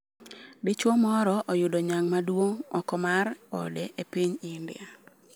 Dichuo moro oyudo nyang' maduong' oko mar ode e piny India